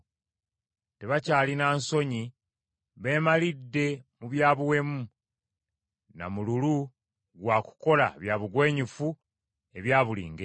Tebakyalina nsonyi, beemalidde mu bya buwemu, na mululu gwa kukola bya bugwenyufu ebya buli ngeri.